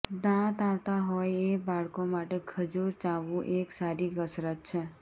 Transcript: દાંત આવતા હોય એ બાળકો માટે ખજૂર ચાવવું એક સારી કસરત છે